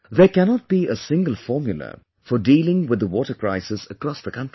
There cannot be a single formula for dealing with water crisis across the country